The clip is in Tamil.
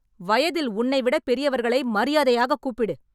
வயதில் உன்னை விட பெரியவர்களை மரியாதையாக கூப்பிடு